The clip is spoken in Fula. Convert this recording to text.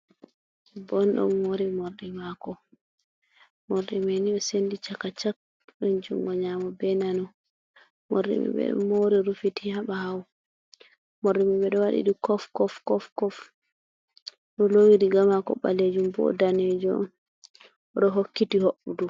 Bondon mori mordimako Morɗi maini sendi chaka chak. Ɗon jungo nyamo be nano. Morɗimai bedo mauri rufiti haɓawo, morɗimai bedo wadi du kof kof. Ɗo lowi rigamako balejum bo danejo on. oɗo hokkiti hoɓɓudu.